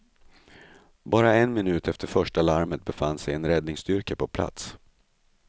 Bara en minut efter första larmet befann sig en räddningsstyrka på plats.